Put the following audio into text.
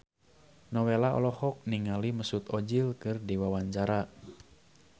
Nowela olohok ningali Mesut Ozil keur diwawancara